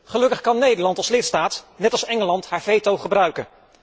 Gelukkig kan Nederland als lidstaat, net als Engeland, zijn veto gebruiken.